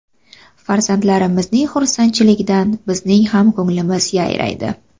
Farzandlarimizning xursandchiligidan bizning ham ko‘nglimiz yayraydi.